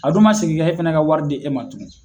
A dun ma sigin ka e fana ka wari di e ma tungun.